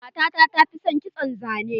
Matata ta fi son kitson zane.